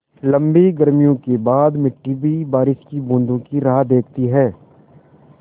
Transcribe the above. लम्बी गर्मियों के बाद मिट्टी भी बारिश की बूँदों की राह देखती है